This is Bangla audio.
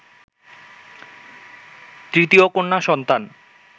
তৃতীয় কন্যা সন্তান